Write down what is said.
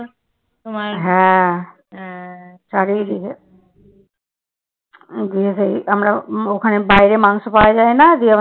ওখানে বাইরে মাংস পাওয়া যায় না দিয়ে